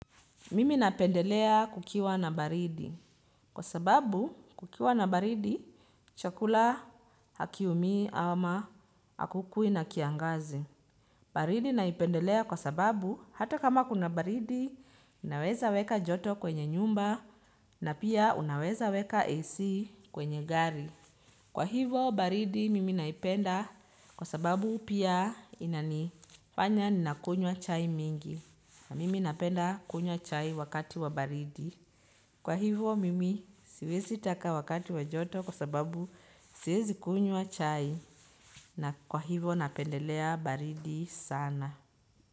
Mimi napendelea kukiwa na baridi kwa sababu kukiwa na baridi chakula hakiumii ama hakukui na kiangazi. Baridi naipendelea kwa sababu hata kama kuna baridi unaweza weka joto kwenye nyumba na pia unaweza weka AC kwenye gari. Kwa hivyo baridi mimi naipenda kwa sababu pia inanifanya ninakunywa chai mingi na mimi napenda kunywa chai wakati wa baridi. Kwa hivyo mimi siwezi taka wakati wa joto kwa sababu siwezi kunywa chai na kwa hivyo napendelea baridi sana.